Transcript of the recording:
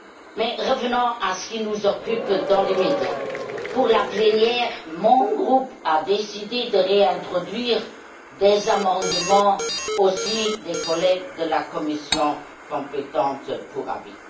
Mais revenons à ce qui nous occupe dans l'immédiat. Pour la plénière, mon groupe a décidé de réintroduire des amendements, qui émanent aussi des collègues de la commission compétente pour avis.